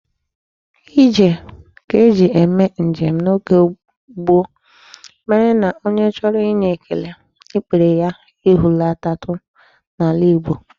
Ije ka e ji eme njem n'oge gboo mere na onye chọrọ inye ekele, ikpere ya ehulatatụ n'ala Igbo.